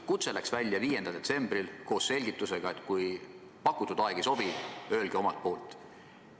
Kutse läks välja 5. detsembril koos selgitusega, et kui pakutud aeg ei sobi, öelge omalt poolt.